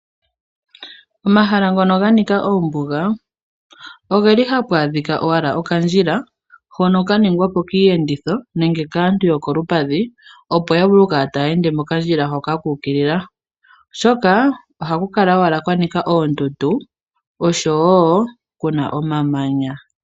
Omahala ngono ganika oombuga ogeli hapu adhika owala okandjila. ,hono kaningwa po kiiyenditho nenge kaantu yokolupadhi opo yavule okukala taya endele mokandjila hoka kuukilila , oshoka ohaku kala kwanika oondundu oshowoo kuna omamanya.